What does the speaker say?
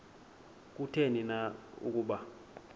kutheni na ukuba